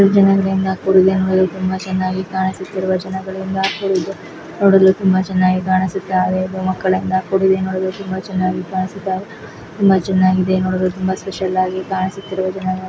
ಜನದಿಂದ ಕೂಡಿದೆ ನೋಡಲು ತುಂಬಾ ಚನ್ನಾಗಿ ಕಾಣಿಸುತ್ತಿರುವ ಜನಗಳಿಂದ ಕೂಡಿದೆ. ನೋಡಲು ತುಂಬಾ ಚನ್ನಾಗಿ ಕಾಣಿಸುತ್ತೆ ಐದು ಮಕ್ಕಳಿಂದ ಕೂಡಿದೆ ನೋಡಲು ತುಂಬಾ ಚನ್ನಾಗಿ ಕಾಣಿಸುತ್ತಾ ಇದೆ. ತುಂಬಾ ಚನ್ನಾಗಿದೆ ನೋಡಲು ತುಂಬಾ ಸ್ಪೆಷಲ್ ಆಗಿ ಕಾಣಿಸುತ್ತಿದೆ.